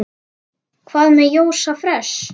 Hvað með Jóa fress?